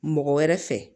Mɔgɔ wɛrɛ fɛ